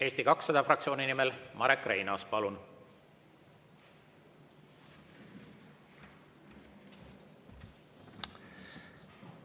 Eesti 200 fraktsiooni nimel Marek Reinaas, palun!